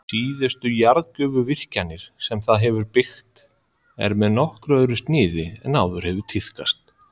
Síðustu jarðgufuvirkjanir sem það hefur byggt eru með nokkuð öðru sniði en áður hefur tíðkast.